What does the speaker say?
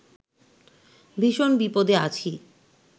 ভীষণ বিপদে আছি